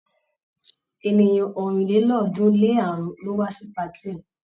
Ènìyàn ọ̀rìnlélọ́ọ̀ọ́dúnrún-lé-àrún ló wá sí patí ẹ.